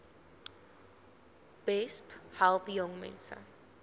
besp help jongmense